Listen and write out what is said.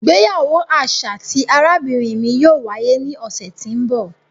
Ìgbéyàwó aṣa ti arabinrin mi yóò waye ni ọsẹ ti n bọ.